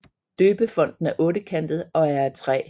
Døbefonten er ottekantet og er af træ